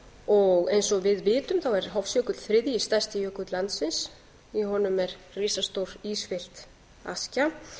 og eins og við vitum er hofsjökull þriðji stærsti jökull landsins í honum er risastór ísfyllt askja